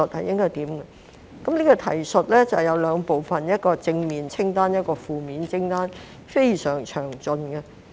這提述包括兩部分：第一是正面清單，第二是負面清單，非常詳盡。